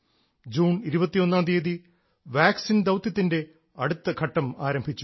June 21ാം തീയതി vaccine ദൌത്യത്തിൻറെ അടുത്ത ഘട്ടം ആരംഭിച്ചു